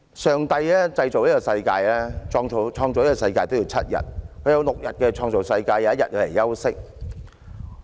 上帝創造這個世界也用上了7天，祂用6天來創造世界 ，1 天休息。